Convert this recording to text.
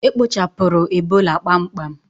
E kpochapụrụ Ebola kpamkpam